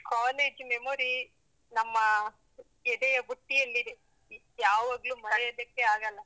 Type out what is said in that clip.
college memory ನಮ್ಮ ಎದೆಯ ಬುಟ್ಟಿಯಲ್ಲಿದೆ, ಯಾವಾಗಲೂ ಮರೆಯೋದಕ್ಕೆ ಆಗಲ್ಲ.